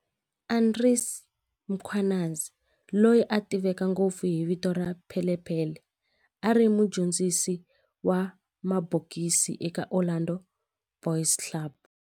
Andries Mkhwanazi, loyi a tiveka ngopfu hi vito ra Pele Pele, a ri mudyondzisi wa mabokisi eka Orlando Boys Club.